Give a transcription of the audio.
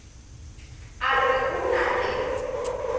a re o na le